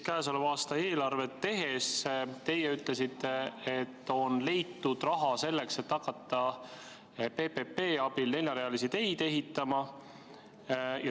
Käesoleva aasta eelarvet tehes te ütlesite, et on leitud raha selleks, et hakata PPP abil neljarealisi teid ehitama.